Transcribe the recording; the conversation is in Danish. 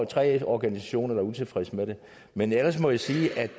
tre organisationer der er utilfreds med det men ellers må jeg sige at